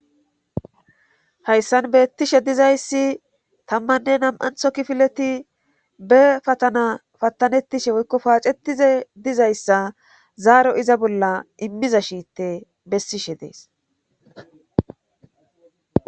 hayssan beettishe dizayssi tammanne nam7antho kifileti be patana pattanettishe woykko paacetize dizayssa zaaro iza bolla immiza shiitte bessishe dees